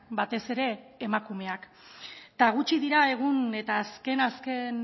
batez ere emakumeak eta gutxi dira egun eta azken azken